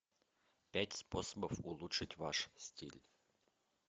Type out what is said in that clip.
пять способов улучшить ваш стиль